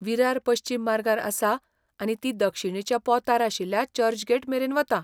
विरार पश्चिम मार्गार आसा आनी ती दक्षिणेच्या पोंतार आशिल्ल्या चर्चगेट मेरेन वता.